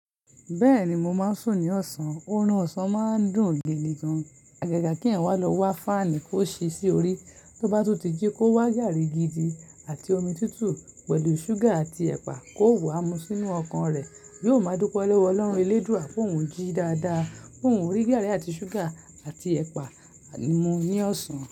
Bẹ́ẹ̀ni, mo máa ń sùn ní ọ̀sán. Orun ọ̀sán máa ń dùn gidi gan. Gaga kí ẹ̀yan wa lọ wa fáànì kó ṣii sí orí. Tó bá tunti jí kó wá gààrí gidi àti omi tútù pẹ̀lú ṣúgà àti ẹ̀pà kó wá mu sínú ọkàn rẹ̀. Yiò máa dúpẹ́ lọ́wọ́ Ọlọ́run elédúa pé òun jí dáadáa. Òun rí gààrí àti ṣúgà àti ẹ̀pà mu ní ọ̀sán.